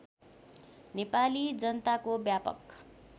नेपाली जनताको व्यापक